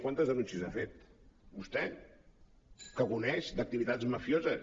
quantes denúncies ha fet vostè que coneix activitats mafioses